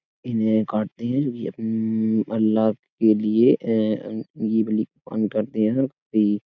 इन्हें काटते हैं। ये अपन ऊंह अल्लाह के लिए एंह करते हैं --